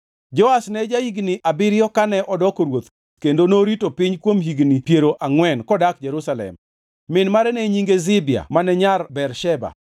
Joash ne ja-higni abiriyo kane odoko ruoth kendo norito piny kuom higni piero angʼwen kodak Jerusalem. Min mare ne nyinge Zibia mane nyar Bersheba.